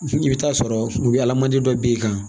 I bɛ taa sɔrɔ u bɛ ala mandi dɔ b'i kan